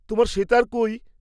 তোমার সেতার কৈ?